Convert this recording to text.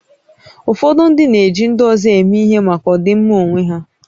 Ụfọdụ ndị na-eji ndị ọzọ eme ihe maka ọdịmma onwe ha